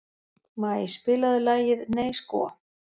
Maj, spilaðu lagið „Nei sko“.